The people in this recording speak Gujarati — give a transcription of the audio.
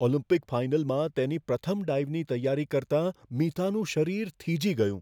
ઓલિમ્પિક ફાઈનલમાં તેની પ્રથમ ડાઈવની તૈયારી કરતાં મિતાનું શરીર થીજી ગયું.